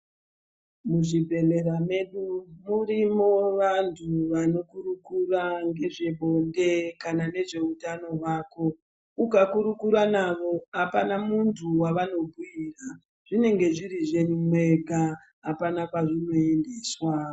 Muzvibhehlera medu murimo vantu vanokurukura ngezvebonde kana nezveutano hwako ukakurukura navo zvinenge zviri zvenyu mwega akuna kwazvinoendeswa.